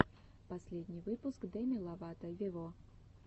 последний выпуск деми ловато вево